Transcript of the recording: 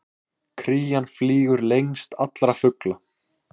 Krían flýgur lengst allra fugla!